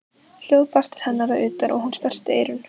Hljóð barst til hennar að utan og hún sperrti eyrun.